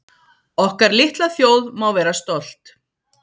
Okkar litla þjóð má vera stolt